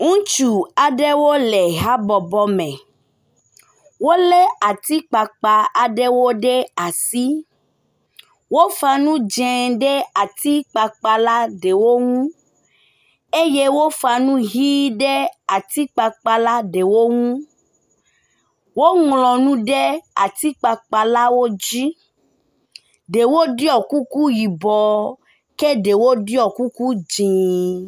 Ŋutsu aɖewo le habɔbɔ me. Wolé ati kpakpa aɖewo ɖe asi. Wofa nu dzẽ ɖe ati akpakpa la ɖewo nu eye wofa nu ʋi ɖe ati kpakpa ɖewo nu. Woŋlɔ nu ɖe ati kpakpalawo dzi. Ɖewo ɖɔi kuku ke ɖewo ɖɔi kuku dzĩ.